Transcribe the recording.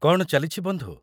କ'ଣ ଚାଲିଛି, ବନ୍ଧୁ?